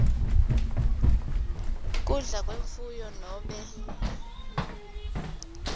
kudla kwemfuyo nobe